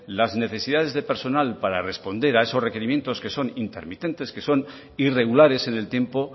las necesidades de personal para responder a esos requerimientos que son intermitentes que son irregulares en el tiempo